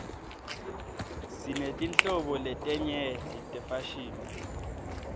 sinetinhlobo letenyeti tefashini